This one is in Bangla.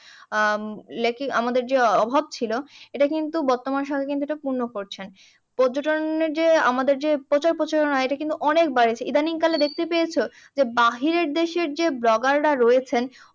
উম আমদের যে অভাব ছিল, এইটা কিন্তু বর্তমান সরকার কিন্তু পূর্ণ করছেন। পর্যটন যে আমাদের যে প্রচার প্রসারণা এটা কিন্তু অনেক বাড়ছে। ইদানীং কালে দেখেতে পেয়েছো? যে বাহিরের দেশের যে blogger টা রয়েছেন